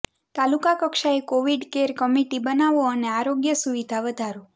તાલુકા કક્ષાએ Covid care committee બનાવો અને આરોગ્ય સુવિધા વધારો